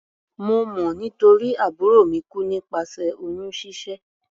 Mo mọ̀ nítorí àbúrò mi kú nípasẹ̀ oyún ṣíṣẹ́.